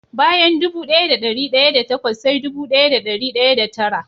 Bayan dubu daya da dari daya da takwas sai dubu daya da dari daya da tara.